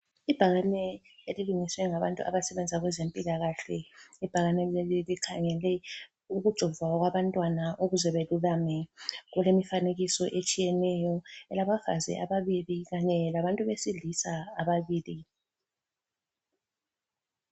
Ibhakane elilungiswe ngabantu abasebenza kwezempilakahle. Ibhakane leli likhangele ukujovwa kwabantwana ukuze belulame. Kulemifanekiso etshiyeneyo, elabafazi ababili kanye labantu besilisa ababili.